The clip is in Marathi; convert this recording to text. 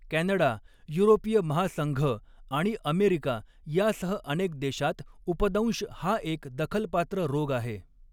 कॅनडा, युरोपीय महासंघ आणि अमेरिका यासह अनेक देशांत, उपदंश हा एक दखलपात्र रोग आहे.